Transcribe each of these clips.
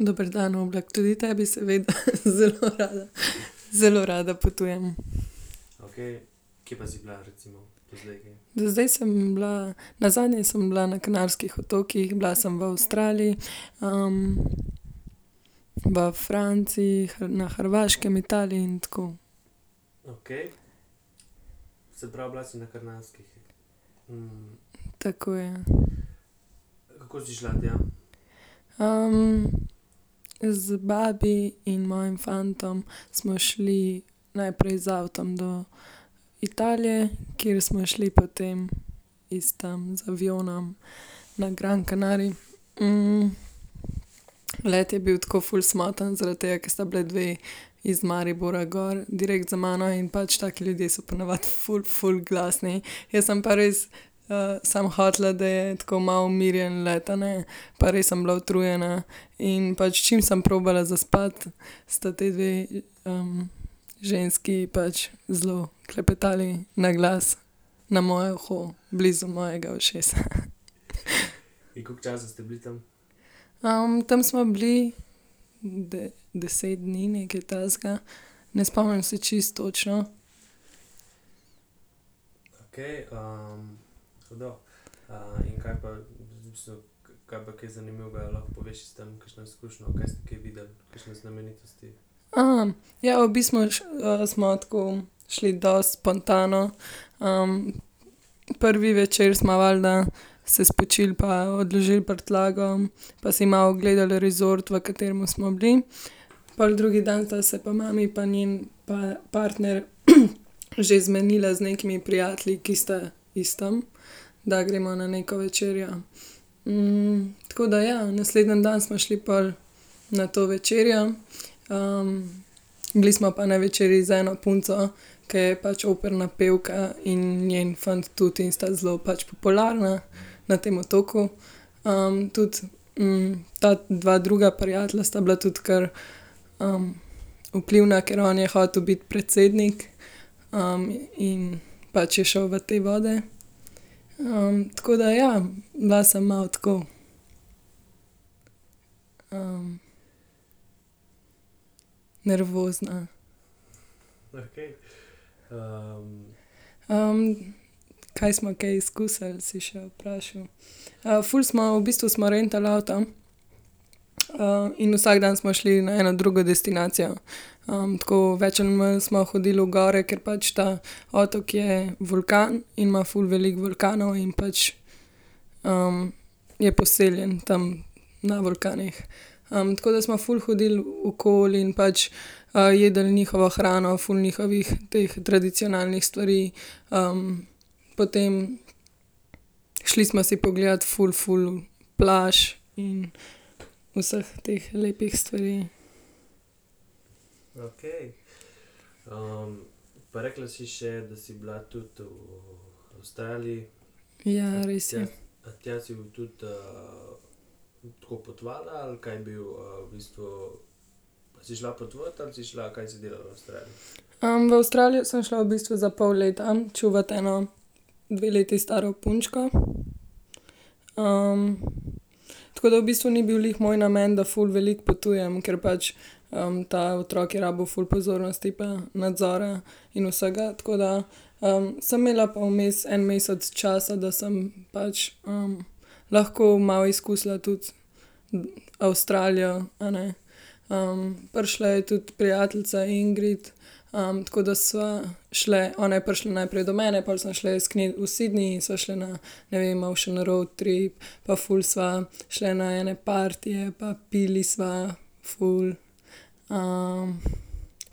Dober dan, Oblak, tudi tebi, seveda, zelo rada, zelo rada potujem. Do zdaj sem bila, nazadnje sem bila na Kanarskih otokih, bila sem v Avstraliji, v Franciji, na Hrvaškem, Italiji in tako. Tako, ja. z babi in mojim fantom smo šli najprej z avtom do Italije, kjer smo šli potem iz tam z avionom na Grand Canary, Let je bil tako ful smotan, zaradi tega, ker sta bili dve iz Maribora gor direkt za mano in pač taki ljudje so po navadi ful ful glasni, jaz sem pa res, samo hotela, da je tako malo umirjen let, a ne, pa res sem bila utrujena. In pač čim sem probala zaspati, sta ti dve, ženski pač zelo klepetali naglas na moje uho, blizu mojega ušesa. tam smo bili deset dni, nekaj takega. Ne spomnim se čisto točno. Ja, v smo, smo tako šli dosti spontano, prvi večer smo valjda se spočili pa odložili prtljago pa si malo ogledali resort, v katerem smo bili. Pol drugi dan sta se pa mami pa njen partner že zmenila z nekimi prijatelji, ki sta iz tam, da gremo na neko večerjo. tako da, ja, naslednji dan smo šli pol na to večerjo, bili smo pa na večerji z eno punco, ker je pač operna pevka in njen fant tudi in sta zelo pač popularna na tem otoku. tudi, ta dva druga prijatelja sta bila tudi kar, vplivna, ker on je hotel biti predsednik, in pač je šel v te vode. tako da, ja, bila sem malo tako, nervozna. kaj smo kaj izkusili, si še vprašal. ful smo v bistvu smo rentali avto. In vsak dan smo šli na eno drugo destinacijo. tako več ali manj smo hodili v gore, ker pač ta otok je vulkan in ima ful veliko vulkanov in pač, je poseljen tam na vulkanih. tako da smo ful hodili okoli in pač, jedli njihovo hrano, ful njihovih teh tradicionalnih stvari, potem šli smo si pogledat ful, ful plaž in vseh teh lepih stvari. Ja, res je. v Avstralijo sem šla v bistvu za pol leta čuvat eno dve leti staro punčko. tako da v bistvu ni bil glih moj namen, da ful veliko potujem, ker pač, ta otrok je rabil ful pozornosti pa nadzora in vsega, tako da, sem imela pa vmes en mesec časa, da sem pač, lahko malo izkusila tudi Avstralijo, a ne. prišla je tudi prijateljica Ingrid, tako da sva šli, ona je prišla najprej do mene, pol sva šli k njej v Sydney sva šli na, ne vem, malo še na roadtrip pa ful sva šli na ene partije pa pili sva ful.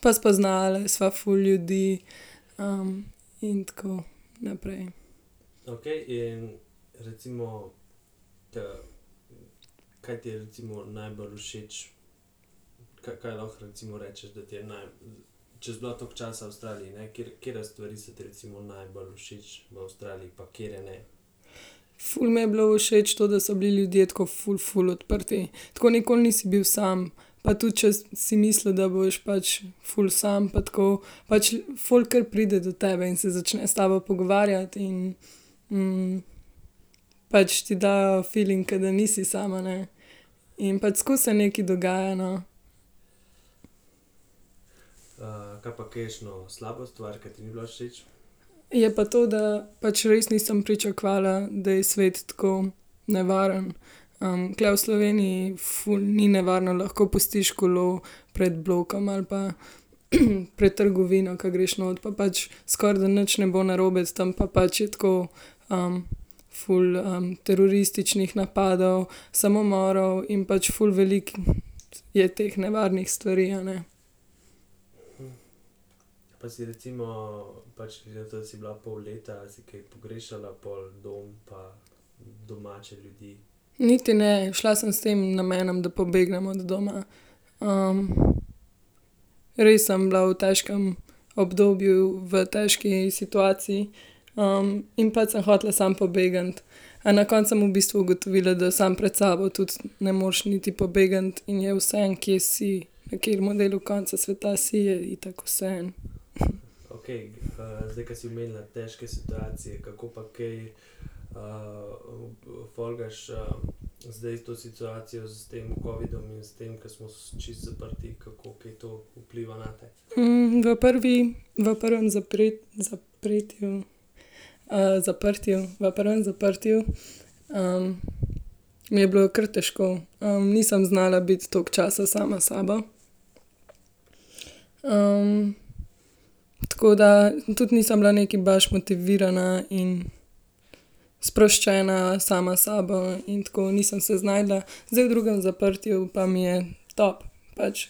pa spoznali sva ful ljudi, in tako naprej. Ful mi je bilo všeč to, da so bili ljudje tako ful, ful odprti, tako nikoli nisi bil sam. Pa tudi, če si mislil, da boš pač ful sam pa tako, pač folk kar pride do tebe in se začne s tabo pogovarjati in, pač ti dajo filing, ke da nisi sam, a ne. In pač skozi se nekaj dogaja, no. Je pa to, da pač res nisem pričakovala, da je svet tako nevaren, tule v Sloveniji ful ni nevarno, lahko pustiš kolo pred blokom ali pa pred trgovino, ke greš not pa pač skoraj, da nič ne bo narobe tam pa pač je tako, ful, terorističnih napadov, samomorov in pač ful veliko je teh nevarnih stvari, a ne. Niti ne, šla sem s tem namenom, da pobegnem od doma. res sem bila v težkem obdobju, v težki situaciji. in pač sem hotela samo pobegniti. A na koncu sem v bistvu ugotovila, da sam pred sabo tudi ne moreš niti pobegniti in je vseeno, kje si. Na katerem delu, koncu sveta si, je itak vseeno. v prvi, v prvem zapretju, zaprtju, v prvem zaprtju, je bilo kar težko. nisem znala biti toliko časa sama s sabo. tako da tudi nisem bila nekaj baš motivirana in sproščena sama s sabo in tako, nisem se znašla, zdaj v drugem zaprtju pa mi je top pač.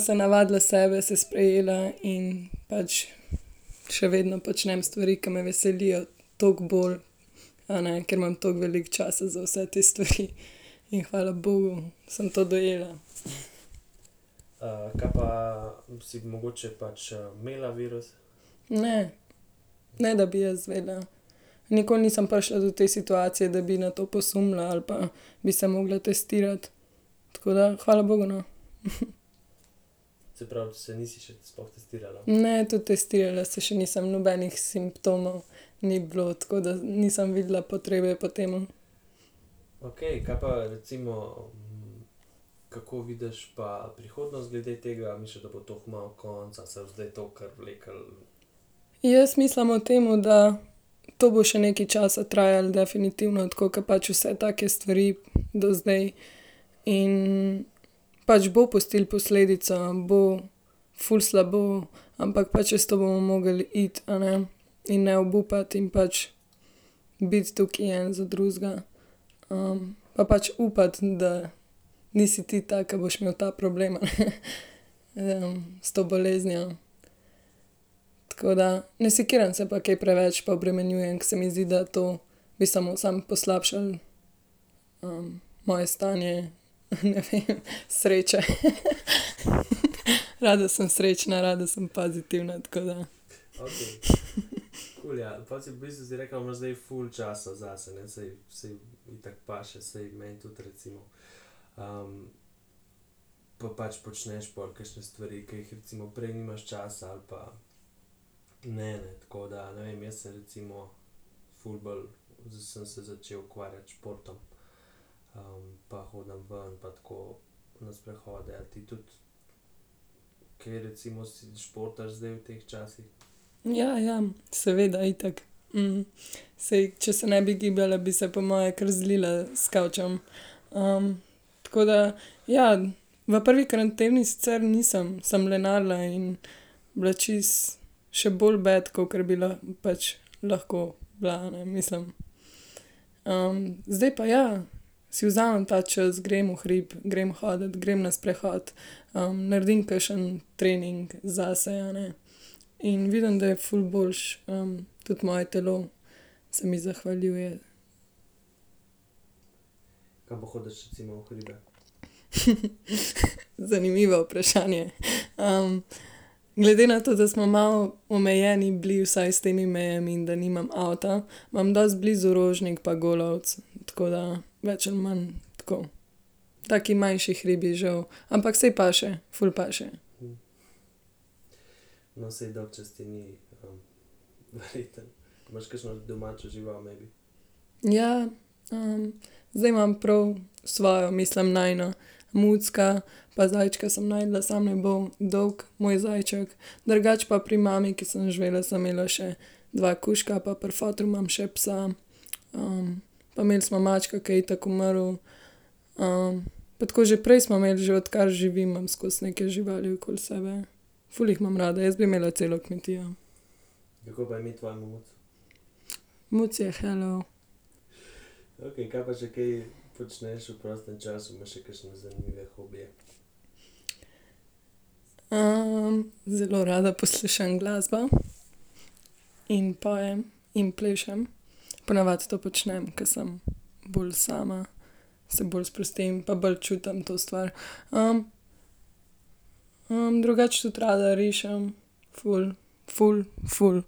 se navadila sebe, se sprejela in pač še vedno počnem stvari, ke me veselijo toliko bolj. A ne, ker imam toliko veliko časa za vse te stvari. In hvala bogu sem to dojela. Ne. Ne da bi jaz vedela. Nikoli nisem prišla do te situacije, da bi na to posumila ali pa bi se mogla testirati. Tako da hvala bogu, no. Ne, tudi testirala se še nisem, nobenih simptomov ni bilo, tako da nisem videla potrebe po tem, no. Jaz mislim o tem, da to bo še nekaj časa trajalo definitivno, tako ke pač vse take stvari do zdaj, in pač bo pustilo posledico, bo ful slabo, ampak pač čez to bomo mogli iti, a ne. In ne obupati in pač biti tukaj en za drugega. pa pač upati, da nisi ti ta, ke boš imel ta problem, a ne. S to boleznijo. Tako da ne sekiram se pa kaj preveč pa obremenjujem, ker se mi zdi, da to mi samo samo poslabšalo, moje stanje, ne vem, sreče rada sem srečna, rada sem pozitivna, tako da. Ja, ja, seveda, itak. saj, če se ne bi gibala, bi se po moje kar zlila s kavčem, Tako da, ja, v prvi karanteni sicer nisem, sem lenarila in bila čisto še bolj bed, kakor bi pač lahko bila, ne, mislim. zdaj pa ja. Si vzamem ta čas, grem v hrib, grem hodit, grem na sprehod, naredim kakšen trening zase, a ne. In vidim, da je ful boljše, tudi, moje telo se mi zahvaljuje. Zanimivo vprašanje, glede na to, da smo malo omejeni bili vsaj s temi mejami in da nimam avta, imam dosti blizu Rožnik pa Golovec, tako da več ali manj, tako taki manjši hribi, žal, ampak saj paše, ful paše. Ja, zdaj imam prav svojo, mislim, najino mucka pa zajčka sem našla, samo je dolgo moj zajček, drugače pa pri mami, ke sem živela, sem imela še dva kužka pa pri fotru imam še psa, pa imeli smo mačka, ke je itak umrl, pa tako že prej smo imeli, že odkar živim, imam skozi neke živali okoli sebe. Ful jih imam rada, jaz bi imela celo kmetijo. Muci je Hello. zelo rada poslušam glasbo in pojem in plešem, po navadi to počnem, ke sem bolj sama, se bolj sprostim pa bolj čutim to stvar, drugače tudi rada rišem ful ful, ful.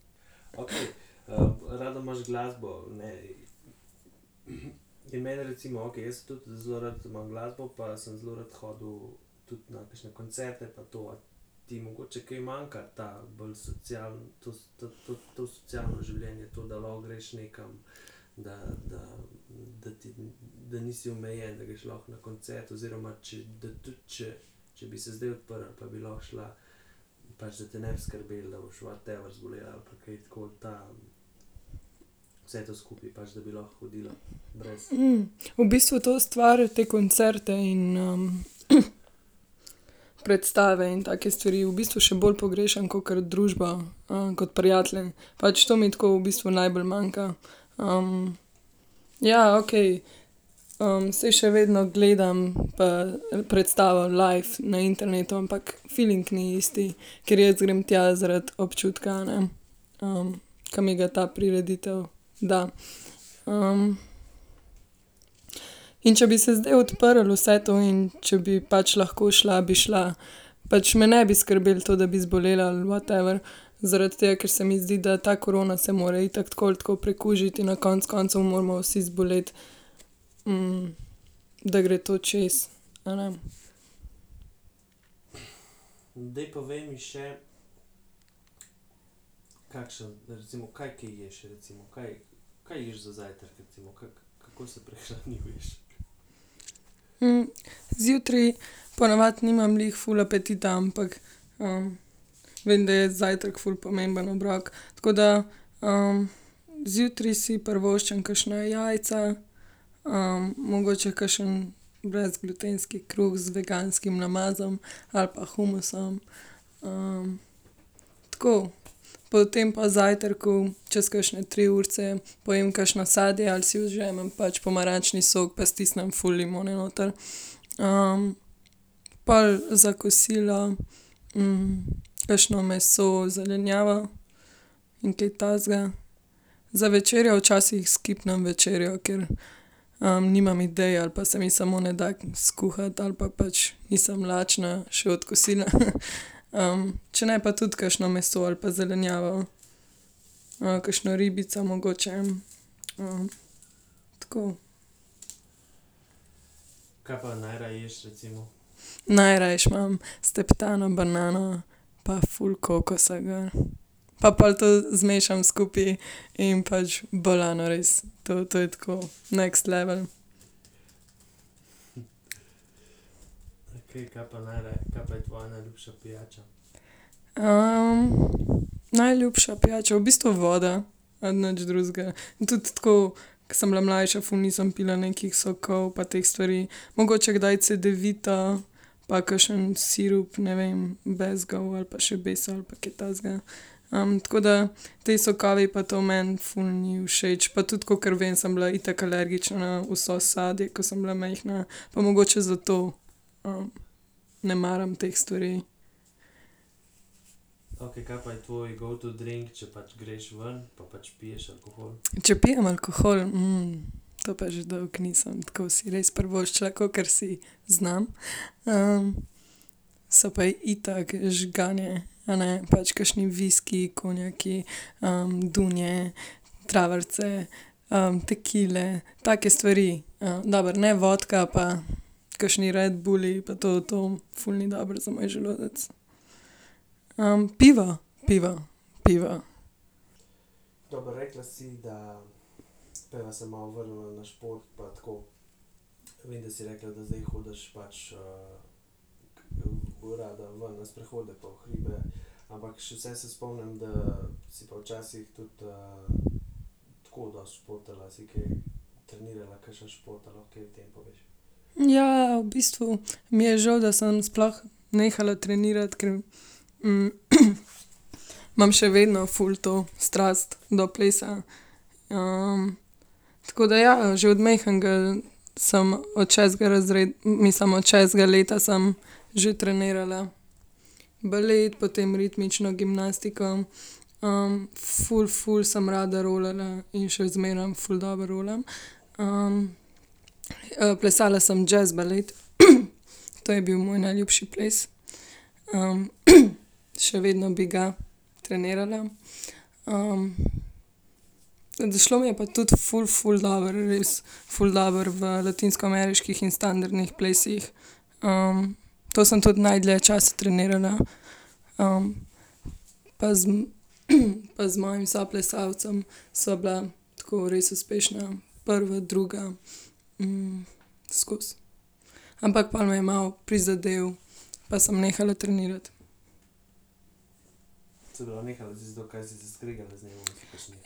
v bistvu to stvar, te koncerte in, predstave in take stvari v bistvu še bolj pogrešam, kakor družbo, kot prijatelje, pač to mi tako v bistvu najbolj manjka. ja, okej saj še vedno gledam pa predstavo live na internetu, ampak filing ni isti, ker jaz grem tja zaradi občutka, a ne. ke mi ga ta prireditev da, In če bi se zdaj odprlo vse to in če bi pač lahko šla, bi šla. Pač me ne bi skrbel to, da bi zbolela ali whatever, zaradi tega, ker se mi zdi, da ta korona se mora itak tako ali tako prekužiti, in na koncu koncev moramo vsi zboleti. da gre to čez, a ne. zjutraj po navadi nimam glih ful apetita, ampak, vem, da je zajtrk ful pomembno obrok, tako da, zjutraj si privoščim kakšna jajca, mogoče kakšen brezglutenski kruh z veganskim namazom ali pa humusom. tako potem po zajtrku, čez kakšne tri urice pojem kakšno sadje ali si ožamem pač pomarančni sok pa stisnem ful limone noter, Pol za kosilo, kakšno meso, zelenjavo in kaj takega. Za večerjo včasih skipnem večerjo, ker, nimam idej ali pa se mi samo ne da skuhati ali pa pač nisem lačna še od kosila , če ne pa tudi kakšno meso ali pa zelenjavo. kakšno ribico mogoče, Tako. Najrajši imam steptano banano pa ful kokosa gor. Pa pol to zmešam skupaj in pač bolano res, to je tako next level. najljubša pijača v bistvu voda. nič drugega, tudi tako, ke sem bila mlajša, ful nisem pila nekih sokov pa teh stvari, mogoče kdaj cedevito pa kakšen sirup, ne vem, bezgov ali pa šabeso ali pa kaj takega. tako da ti sokovi pa to meni ful niso všeč pa tudi, kakor vem, sem bila itak alergična na vse sadje, ke sem bila majhna, pa mogoče zato. ne maram teh stvari. Če pijem alkohol? to pa že dolgo nisem tako si res privoščila, kakor si znam, so pa itak žganje, a ne, pač kakšni viskiji, konjaki, dunje, travarice, tekile take stvari, dobro, ne vodka pa kakšni redbulli pa to, to ful ni dobro za moj želodec. pivo, pivo pivo. ja, v bistvu mi je žal, da sem sploh nehala trenirati, ker, imam še vedno ful to strast do plesa, tako da, ja, že od majhnega sem od šestega mislim od šestega leta sem že trenirala balet, potem ritmično gimnastiko, ful ful sem rada rolala in še zmeraj ful dobro rolam, plesala sem jazz balet . To je bil moj najljubši ples. še vedno bi ga trenirala, šlo pa mi pa tudi ful ful dobro, res, ful dobro v latinskoameriških in standardnih plesih. to sem tudi najdlje časa trenirala. pa pa z mojim soplesalcem sva bila tako res uspešna, prva, druga. skozi. Ampak pol me je malo prizadel pa sem nehala trenirati.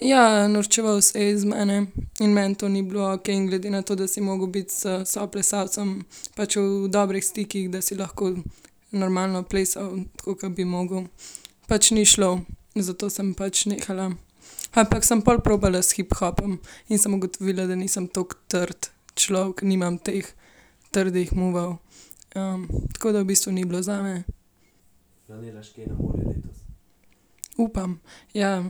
Ja, norčeval se je iz mene in meni to ni bilo okej, in glede na to, da si mogel biti s soplesalcem pač v dobrih stikih, da si lahko normalno plesal, tako ke bi mogel. Pač ni šlo, zato sem pač nehala, ampak sem pol probala s hiphopom in sem ugotovila, da nisem toliko trd človek, nimam teh trdih movov, tako da v bistvu ni bilo zame. Upam, ja,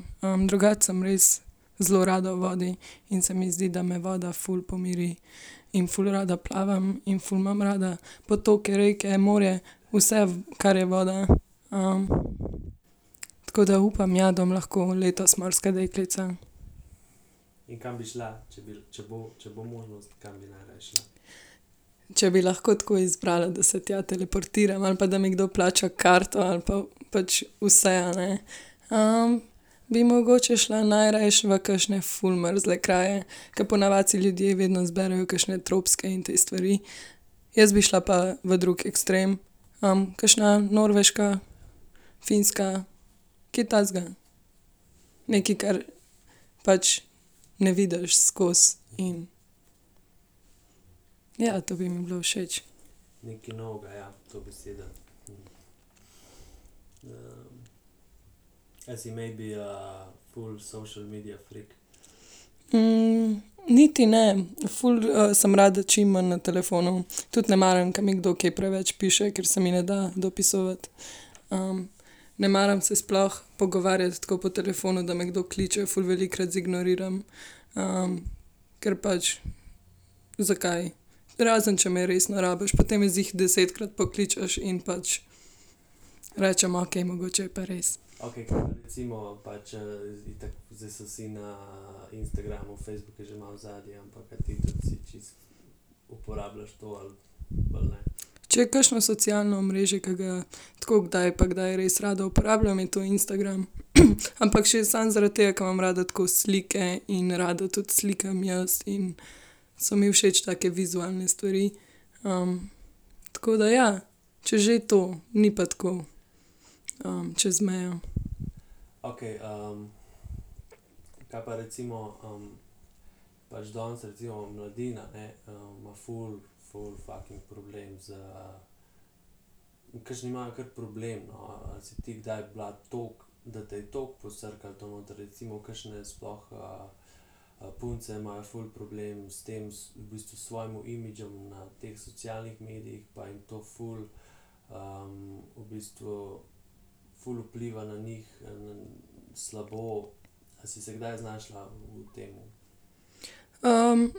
drugače sem res zelo rada v vodi in se mi zdi, da me voda ful pomiri. In ful rada plavam in ful imam rada potoke, reke, morje vse, kar je voda. tako da upam, ja, da bom lahko letos morska deklica. Če bi lahko tako izbrala, da se tja teleportiram ali pa da mi nekdo plača karto ali pa pač vse, a ne. bi mogoče šla najrajši v kakšne ful mrzle kraje, ke po navadi si ljudje vedno izberejo kakšne tropske in te stvari, jaz bi šla pa v drug ekstrem. kakšna Norveška, Finska, kaj takega. Nekaj, kar pač ne vidiš skozi in ... Ja, to bi mi bilo všeč. niti ne, ful, sem rada čim manj na telefonu, tudi ne maram, ke mi kdo kaj preveč piše, ker se mi ne da dopisovati, ne maram se sploh pogovarjati tako po telefonu, da me kdo kliče, ful velikokrat zignoriram, ker pač, zakaj? Razen če me resno rabiš, potem me ziher desetkrat pokličeš in pač rečem: "Okej, mogoče je pa res." Če je kakšno socialno omrežje, ke ga tako kdaj pa kdaj res rada uporabljam, je to Instagram. Ampak še samo zaradi tega, ker imam rada tako slike in rada tudi slikam jaz in so mi všeč take vizualne stvari, tako da, ja. Če že, to, ni pa tako, čez mejo.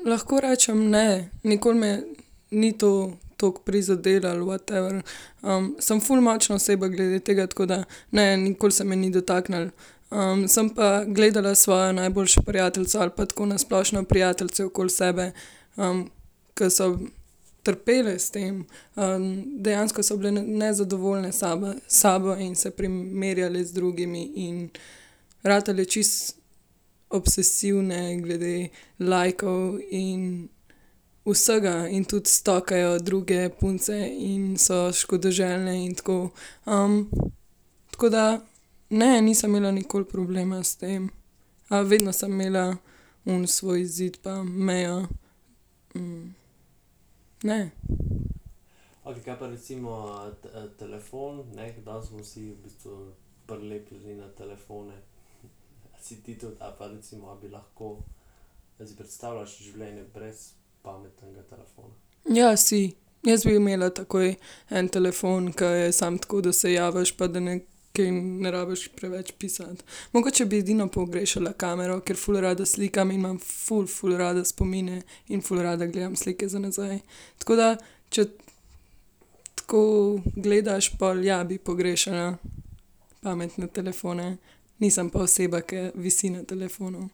lahko rečem, ne. Nikoli me ni to toliko prizadelo ali whatever, sem ful močna oseba glede tega, tako da, ne, nikoli se me ni dotaknilo, sem pa gledala svojo najboljšo prijateljico ali pa tako na splošno prijateljice okoli sebe, ke so trpele s tem, dejansko so bile nezadovoljne same s sabo in se primerjale z drugimi in ratale čisto obsesivne glede lajkov in vsega in tudi stokajo druge punce in so škodoželjne in tako, tako da, ne, nisem imela nikoli problema s tem. vedno sem imela oni svoj zid pa mejo, ne. Ja, si. Jaz bi imela takoj en telefon, ke je samo tako, da se javiš pa da kaj ne rabiš preveč pisati. Mogoče bi edino pogrešala kamero, ker ful rada slikam in imam ful, ful rada spomine in ful rada gledam slike za nazaj, tako da če tako gledaš pol, ja, bi pogrešala pametne telefone. Nisem pa oseba, ki visi na telefonu.